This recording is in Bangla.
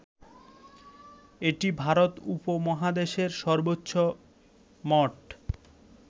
এটি ভারত উপমহাদেশের সর্বোচ্চ মঠ